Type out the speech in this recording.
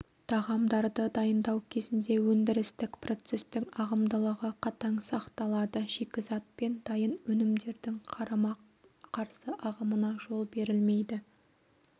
тағамдарды дайындау кезінде өндірістік процестің ағымдылығы қатаң сақталады шикізат пен дайын өнімдердің қарама-қарсы ағымына жол берілмейді